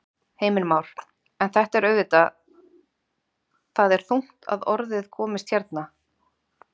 Heimir Már: En þetta er auðvitað, það er þungt að orði komist hérna?